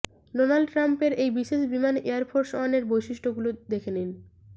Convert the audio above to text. Donald ট্রাম্পের এই বিশেষ বিমান এয়ারফোর্স ওয়ানের বৈশিষ্ট্যগুলো দেখে নিন